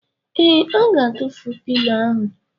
Ee, Ọ ga-atụfu pilo ahụ.